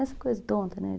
tonta, né?